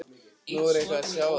Nú, er eitthvað að sjá á því?